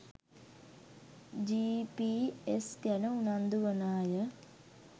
GPS ගැන උනන්දු වන අය